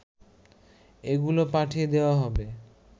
এগুলো পাঠিয়ে দেয়া হবে